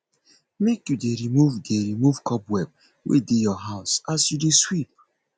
make you dey remove dey remove cobweb wey dey your house as you dey sweep